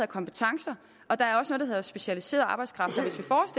kompetencer og der er også noget der hedder specialiseret arbejdskraft